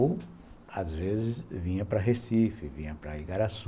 Ou, às vezes, vinha para Recife, vinha para Igaraçu.